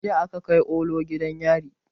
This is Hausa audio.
Jiya aka kai olu gidan yari